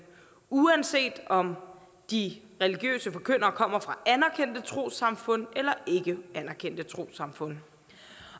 uanset om de religiøse forkyndere kommer fra anerkendte trossamfund eller ikkeanerkendte trossamfund